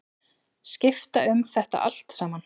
Skipta um þetta allt saman.